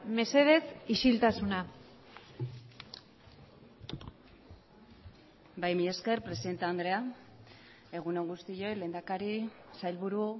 mesedez isiltasuna bai mila esker presidente andrea egun on guztioi lehendakari sailburu